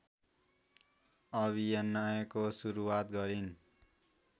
अभिनयको सुरुवात गरिन्